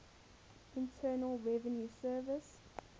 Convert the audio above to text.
internal revenue service